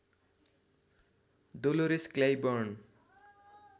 Dolores Clyburn